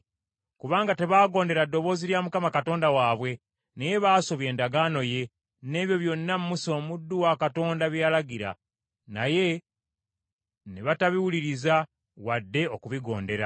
kubanga tebagondera ddoboozi lya Mukama Katonda waabwe, naye baasobya endagaano ye, n’ebyo byonna Musa omuddu wa Katonda bye yalagira. Naye ne batabiwulirizza wadde okubigondera.